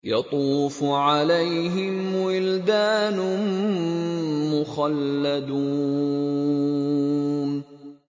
يَطُوفُ عَلَيْهِمْ وِلْدَانٌ مُّخَلَّدُونَ